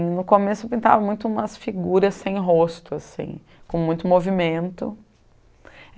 No começo, eu pintava muito umas figuras sem rosto assim, com muito movimento.